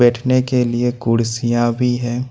के लिए कुर्सियां भी हैं।